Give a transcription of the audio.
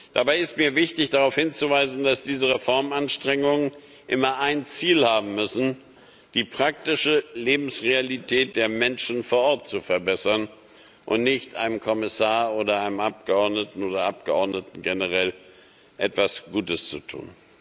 Dabei ist mir wichtig, darauf hinzuweisen, dass diese Reformanstrengungen immer ein Ziel haben müssen die praktische Lebensrealität der Menschen vor Ort zu verbessern und nicht einem Kommissar oder einem Abgeordneten oder Abgeordneten generell etwas Gutes zu tun.